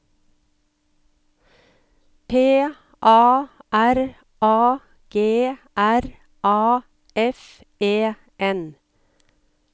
P A R A G R A F E N